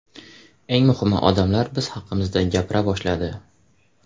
Eng muhimi, odamlar biz haqimizda gapira boshladi.